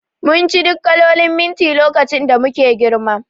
Munci duk kalolin minti lokacin da muke girma